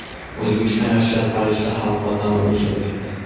O‘zbekiston yoshlari Parijda xalqaro tanlovda ishtirok etdi.